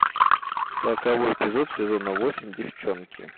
сороковой эпизод сезона восемь девчонки